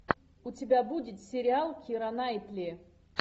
у тебя будет сериал кира найтли